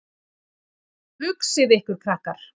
Hugsið ykkur, krakkar.